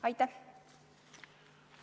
Aitäh!